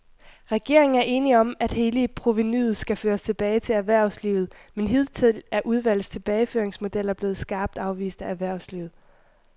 Regeringen er enig om, at hele provenuet skal føres tilbage til erhvervslivet, men hidtil er udvalgets tilbageføringsmodeller blevet skarpt afvist af erhvervslivet.